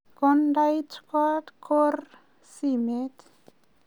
kondait kot korir simet